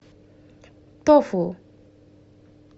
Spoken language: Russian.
тофу